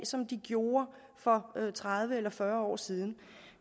som de gjorde for tredive eller fyrre år siden